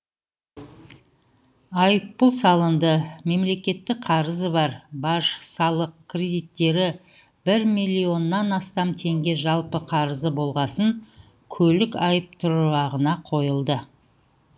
айыппұл салынды мемлекеттік қарызы бар баж салық кредиттері бір миллионнан астам теңге жалпы қарызы болғасын көлік айыптұрағына қойылды